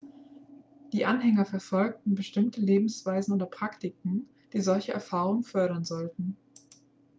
die anhänger verfolgen bestimmte lebensweisen oder praktiken die solche erfahrungen fördern sollen